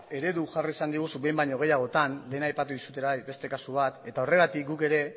eredu jarri izan diguzu behin baino gehiagotan lehen aipatu duzu beste kasu bat eta horregatik guk ere